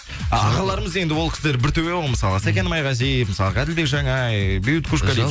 ағаларымыз енді ол кісілер бір төбе ғой мысалға сәкен майғазиев мысалға әділбек жаңай бейбіт